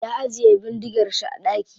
Ya ajiye bindigar shi a daki.